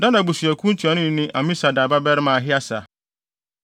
Dan abusuakuw ntuanoni ne Amisadai babarima Ahieser;